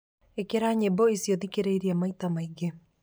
Ikĩra nyĩmbo ciothe iria thikĩrĩirie maita maingĩ